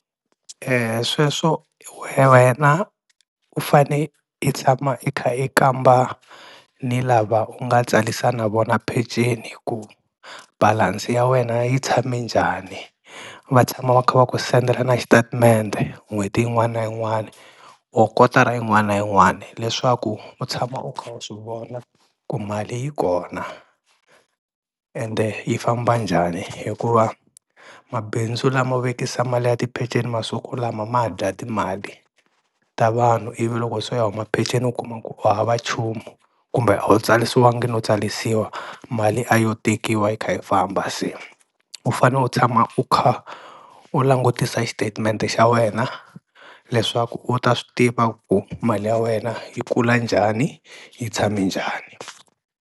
Sweswo wena u fane i tshama i kha i kamba ni lava u nga tsalisa na vona peceni ku balance ya wena yi tshame njani, va tshama va kha va ku sendela na xitatimende n'hweti yin'wana na yin'wana or kotara yin'wana na yin'wana leswaku u tshama u kha u swi vona ku mali yi kona, ende yi famba njhani hikuva mabindzu lamo vekisa mali ya tipeceni masiku lama ma dya timali ta vanhu ivi loko se u ya huma peceni u kuma ku u hava nchumu kumbe a wu tsalisiwangi no tsalisiwa mali a yo tekiwa yi kha yi famba se u fane u tshama u kha u langutisa xitetimende xa wena leswaku u ta swi tiva ku mali ya wena yi kula njhani yi tshame njhani.